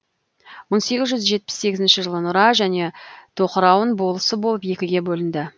мың сегіз жүз жетпіс сегізінші жылы нұра және тоқырауын болысы болып екіге бөлінді